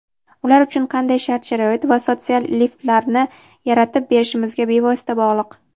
ular uchun qanday shart-sharoit va "sotsial lift"larni yaratib berishimizga bevosita bog‘liq.